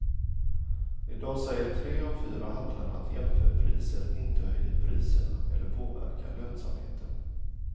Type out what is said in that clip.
I dag säger tre av fyra handlare att jämförpriser inte höjer priserna eller påverkar lönsamheten.